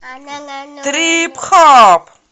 трип хоп